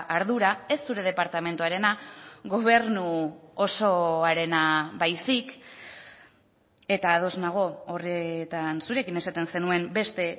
ardura ez zure departamentuarena gobernu osoarena baizik eta ados nago horretan zurekin esaten zenuen beste